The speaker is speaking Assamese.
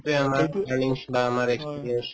সেইটোয়ে আমাৰ learning বা আমাৰ experience